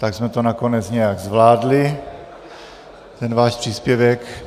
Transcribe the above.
Tak jsme to nakonec nějak zvládli, ten váš příspěvek.